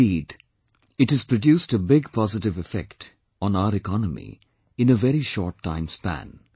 Indeed, it has produced a big positive effect on our economy in a very short time span